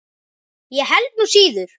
Ég held nú síður.